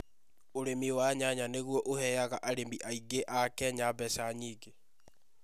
Ũrĩmi wa nyanya nĩ guo ũheaga arĩmi aingĩ a Kenya mbeca nyingĩ.